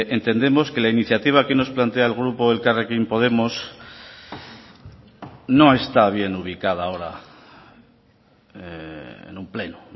entendemos que la iniciativa que nos plantea el grupo elkarrekin podemos no está bien ubicada ahora en un pleno